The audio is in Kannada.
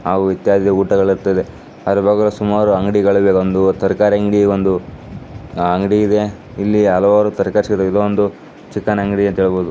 ಅಲ್ಲಿ ಆಸುಮಾರು ಅಂಗಡಿಗಳು ತರಕಾರಿ ಅಂಗಡಿ ಇದೆ ಅಲ್ಲಿ ಒಂದು ಚಿಕನ್ ಅಂಗಡಿ ಇದೆ ಎಂದು ಹೇಳಬಹುದು.